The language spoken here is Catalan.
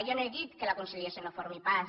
jo no he dit que la conciliació no formi part